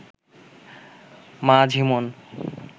মা ঝিমোন